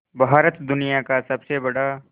भारत दुनिया का सबसे बड़ा